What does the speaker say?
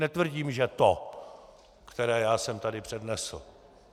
Netvrdím, že to, které já jsem tady přednesl.